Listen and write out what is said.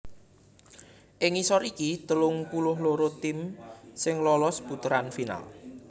Ing ngisor iki telung puluh loro tim sing lolos puteran final